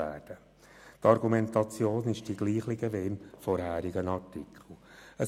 Die Argumentation ist dieselbe wie im vorherigen Artikel.